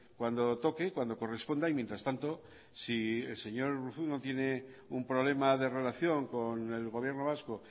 cuando toque cuando corresponda y mientras tanto si el señor urruzuno no tiene un problema de relación con el gobierno vasco